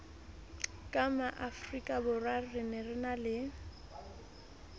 ka maafrikaborwa re na le